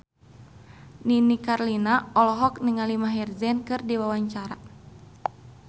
Nini Carlina olohok ningali Maher Zein keur diwawancara